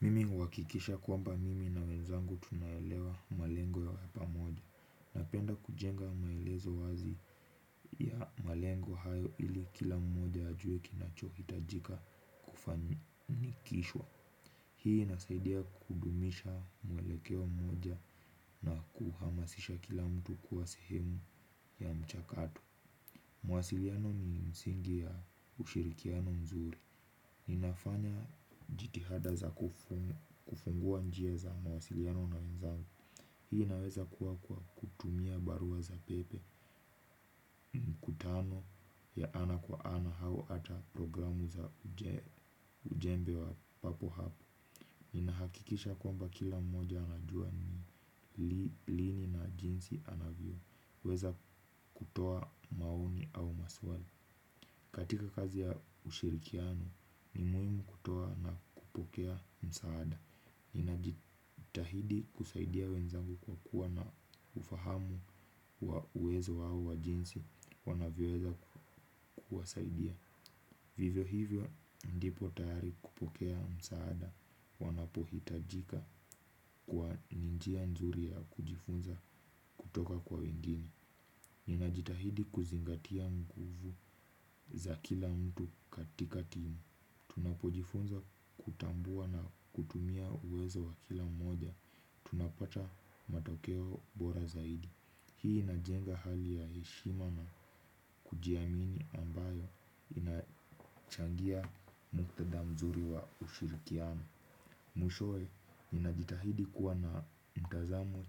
Mimi huhakikisha kwamba mimi na wenzangu tunaelewa malengo ya pamoja. Napenda kujenga maelezo wazi ya malengo hayo ili kila mmoja ajue kinachohitajika kufanikishwa. Hii inasaidia kudumisha mwelekeo mmoja na kuhamasisha kila mtu kuwa sehemu ya mchakato. Mwasiliano ni msingi ya ushirikiano mzuri. Ninafanya jitihada za kufungua njia za mawasiliano na wenzangu. Hii inaweza kuwa kwa kutumia barua za pepe. Mkutano ya ana kwa ana au hata programu za ujumbe wa papo hapo. Ninahakikisha kwamba kila mmoja anajua ni lini na jinsi anavyoweza kutoa maoni au maswali katika kazi ya ushirikiano ni muhimu kutoa na kupokea msaada. Ninajitahidi kusaidia wenzangu kwa kuwa na ufahamu wa uwezo wao wa jinsi wanavyoweza kuwasaidia. Vivyo hivyo ndipo tahari kupokea msaada wanapohitajika kwa ni njia nzuri ya kujifunza kutoka kwa wengine. Ninajitahidi kuzingatia nguvu za kila mtu katika timu. Tunapojifunza kutambua na kutumia uwezo wa kila mmoja tunapata matokeo bora zaidi. Hii inajenga hali ya heshima na kujiamini ambayo inachangia muktadha mzuri wa ushirikiano. Mwishowe, ninajitahidi kuwa na mtazamo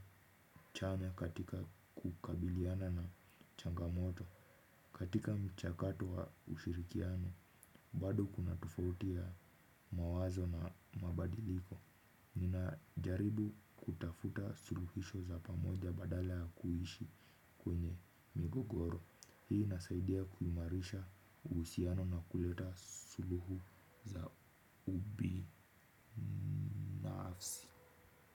chanya katika kukabiliana na changamoto katika mchakato wa ushirikiano, bado kuna tofauti ya mawazo na mabadiliko. Ninajaribu kutafuta suluhisho za pamoja badala ya kuishi kwenye migogoro hii inasaidia kuimarisha uhusiano na kuleta suluhu za ubinafsi.